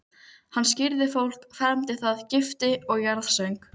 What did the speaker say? Hann skírði fólk, fermdi það, gifti og jarðsöng.